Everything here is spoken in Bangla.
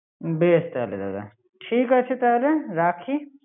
বেশ তাহলে দাদা, ঠিক আছে তাহলে, রাখি